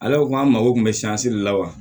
Ale ko an mago tun bɛ de la wa